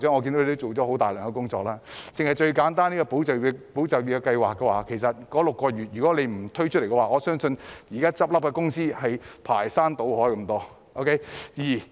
簡單以"保就業"計劃來說，如果當局不推出這計劃向僱主提供6個月補貼的話，我相信現在很多公司會排山倒海地倒閉。